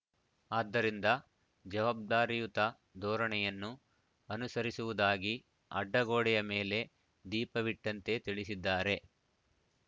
ಆದ್ದರಿಂದ ಜವಾಬ್ದಾರಿಯುತ ಧೋರಣೆಯನ್ನು ಅನುಸರಿಸುವುದಾಗಿ ಅಡ್ಡಗೋಡೆಯ ಮೇಲೆ ದೀಪವಿಟ್ಟಂತೆ ತಿಳಿಸಿದ್ದಾರೆ